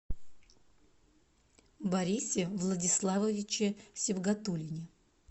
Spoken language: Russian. борисе владиславовиче сибгатуллине